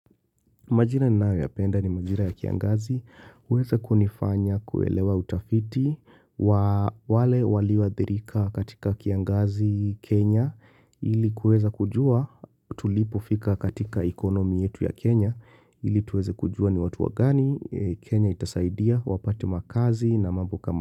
Majira ninayoyapenda ni majira ya kiangazi. Huweza kunifanya kuelewa utafiti wa wale walioathirika katika kiangazi, Kenya. Ili kuweza kujua tulipofika katika ekonomi yetu ya Kenya. Ili tuweze kujua ni watu wagani Kenya itasaidia wapate makazi na mambo kama.